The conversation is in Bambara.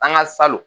An ka salon